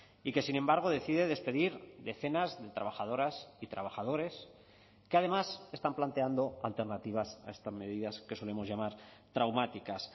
y que sin embargo decide despedir decenas de trabajadoras y trabajadores que además están planteando alternativas a estas medidas que solemos llamar traumáticas